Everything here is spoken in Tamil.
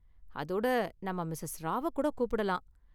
அதோட, நாம மிஸஸ் ராவ்வ கூட கூப்பிடலாம்.